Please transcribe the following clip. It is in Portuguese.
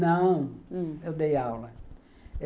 Não, eu dei aula.